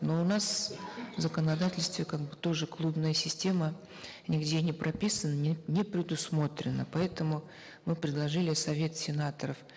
но у нас в законодательстве как бы тоже клубная система нигде не прописана не предусмотрена поэтому мы предложили совет сенаторов